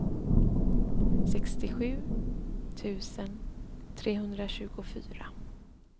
sextiosju tusen trehundratjugofyra